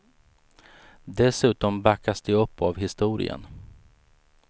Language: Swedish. Dessutom backas de upp av historien.